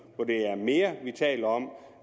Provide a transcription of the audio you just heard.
er mere vi taler om